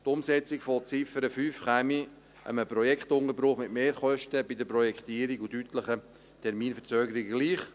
Die Umsetzung der Ziffer 5 käme einem Projektunterbruch mit Mehrkosten bei der Projektierung und deutlichen Terminverzögerungen gleich.